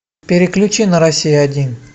переключи на россия один